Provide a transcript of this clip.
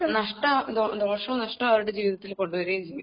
നഷ്ടവും ദോഷവും നഷ്ടവും അവരുടെ ജീവിതത്തിൽ കൊടുവരികയും ചെയ്യും